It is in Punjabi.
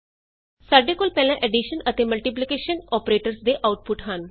ਸਾਡੇ ਕੋਲ ਪਹਿਲਾਂ ਐਡੀਸ਼ਨ ਅਤੇ ਮਲਟੀਪਲੀਕੇਸ਼ਨ ਅੋਪਰੇਟਰਸ ਦੇ ਆਉਟਪੁਟ ਹਨ